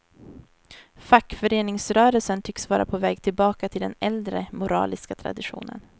Fackföreningsrörelsen tycks vara på väg tillbaka till den äldre, moraliska traditionen.